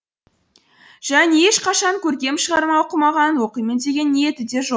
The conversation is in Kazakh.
және ешқашан көркем шығарма оқымаған оқимын деген ниеті де жоқ